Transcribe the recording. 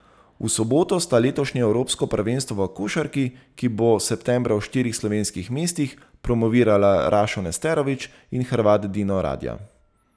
V soboto sta letošnje evropsko prvenstvo v košarki, ki bo septembra v štirih slovenskih mestih, promovirala Rašo Nesterović in Hrvat Dino Radja.